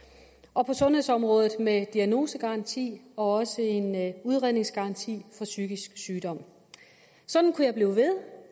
og på sundhedsområdet med diagnosegaranti og også en udredningsgaranti for psykisk sygdom sådan kunne jeg blive ved